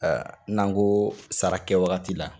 N'an ko sara kɛwagati la